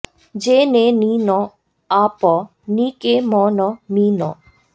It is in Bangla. জে নে নি ন আ প নি কে ম ন মী ন